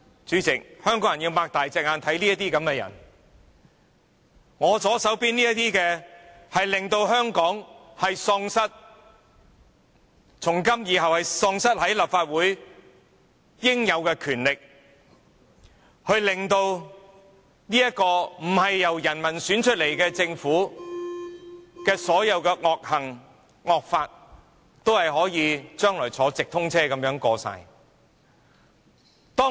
主席，香港人要睜大眼睛看清楚這些人，是我左手邊這些人，令立法會從今以後喪失其應有權力，讓不是由人民選出來的政府作出的所有惡行、惡法，今後可以像直通車一般全部獲得通過。